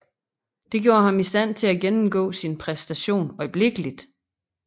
Dette gjorde ham i stand til at gennemgå sin præstation øjeblikkeligt